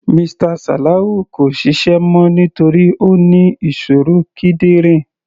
Mr Salawu kò ṣiṣẹ́ mọ́ nítorí Ó ní ìṣòro kídìrín.